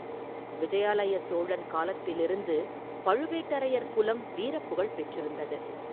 விஜயாலய சோழன் காலத்திலிருந்து பழுவேட்டரையர் குலம் வீரப் புகழ்பெற்றிருந்தது.